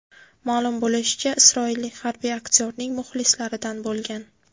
Ma’lum bo‘lishicha, isroillik harbiy aktyorning muxlislaridan bo‘lgan.